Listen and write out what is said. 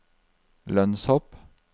lønnshopp